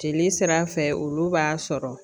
Jeli sira fɛ olu b'a sɔrɔ